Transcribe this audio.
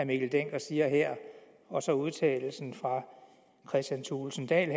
mikkel dencker siger her og så udtalelsen fra herre kristian thulesen dahl